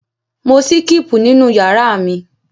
Mò síkípù nínú ìyàrá mi.